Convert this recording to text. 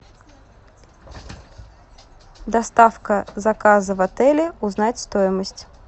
доставка заказа в отеле узнать стоимость